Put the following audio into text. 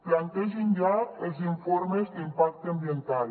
plantegin ja els informes d’impacte ambiental